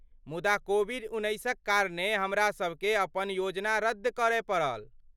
मुदा कोविड उन्नैसक कारणे हमरासबकेँ अपन योजना रद्द करय पड़ल।